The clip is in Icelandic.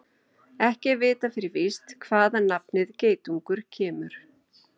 Ekki er vitað fyrir víst hvaðan nafnið geitungur kemur.